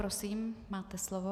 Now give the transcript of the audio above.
Prosím, máte slovo.